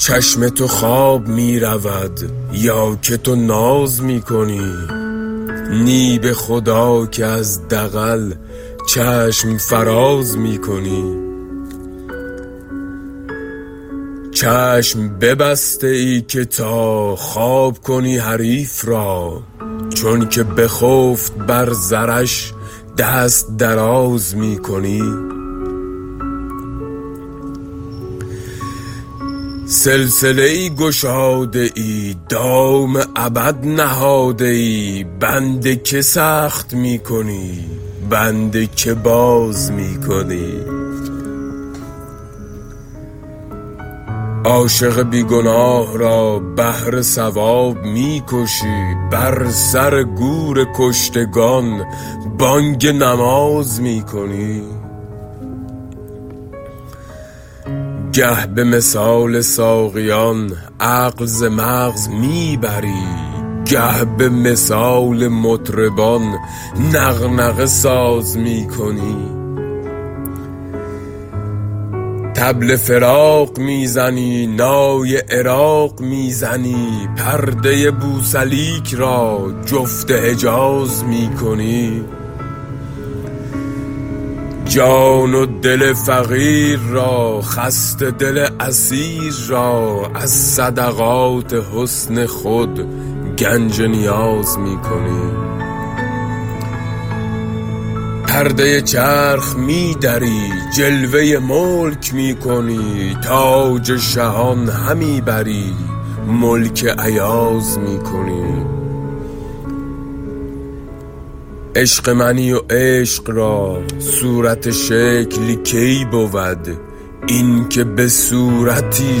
چشم تو خواب می رود یا که تو ناز می کنی نی به خدا که از دغل چشم فراز می کنی چشم ببسته ای که تا خواب کنی حریف را چونک بخفت بر زرش دست دراز می کنی سلسله ای گشاده ای دام ابد نهاده ای بند که سخت می کنی بند که باز می کنی عاشق بی گناه را بهر ثواب می کشی بر سر گور کشتگان بانگ نماز می کنی گه به مثال ساقیان عقل ز مغز می بری گه به مثال مطربان نغنغه ساز می کنی طبل فراق می زنی نای عراق می زنی پرده بوسلیک را جفت حجاز می کنی جان و دل فقیر را خسته دل اسیر را از صدقات حسن خود گنج نیاز می کنی پرده چرخ می دری جلوه ملک می کنی تاج شهان همی بری ملک ایاز می کنی عشق منی و عشق را صورت شکل کی بود اینک به صورتی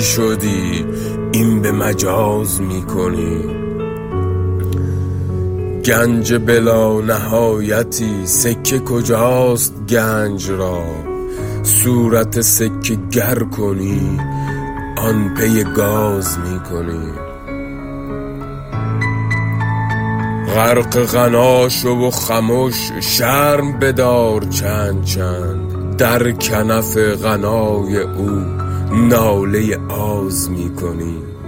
شدی این به مجاز می کنی گنج بلانهایتی سکه کجاست گنج را صورت سکه گر کنی آن پی گاز می کنی غرق غنا شو و خمش شرم بدار چند چند در کنف غنای او ناله آز می کنی